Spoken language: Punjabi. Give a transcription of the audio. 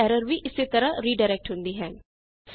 ਸਟੈਂਡਰਡ ਐਰਰ ਵੀ ਇਸੇ ਤਰਹ ਰੀਡਾਇਰੈਕਟ ਹੁੰਦੀ ਹੈ